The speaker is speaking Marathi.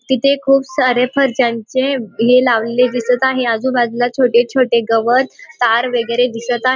तिथे खूप सारे फरशा यांचे हे लावलेले दिसत आहे आजूबाजूला छोटे-छोटे गवत तार वगैरे दिसत आहे.